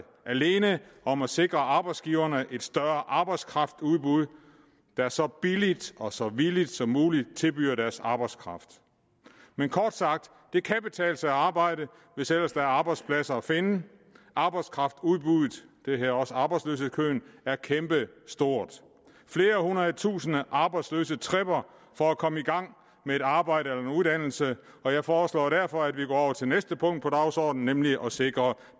alene om at sikre arbejdsgiverne et større arbejdskraftudbud der så billigt og så villigt som muligt tilbyder deres arbejdskraft men kort sagt det kan betale sig at arbejde hvis ellers der er arbejdspladser at finde arbejdskraftudbuddet det hedder også arbejdsløshedskøen er kæmpestort flere hundrede tusinde arbejdsløse tripper for at komme i gang med et arbejde eller en uddannelse og jeg foreslår derfor at vi går over til næste punkt på dagsordenen nemlig at sikre